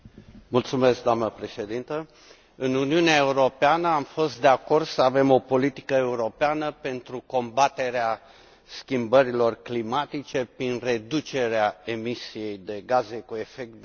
Doamnă președintă, în Uniunea Europeană am fost de acord să avem o politică europeană pentru combaterea schimbărilor climatice prin reducerea emisiei de gaze cu efect de seră.